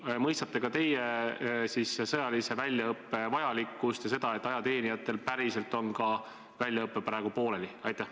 Või mõistate ka teie sõjalise väljaõppe vajalikkust ja seda, et ajateenijatel on väljaõpe praegu pooleli?